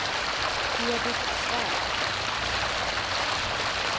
Edit Svärd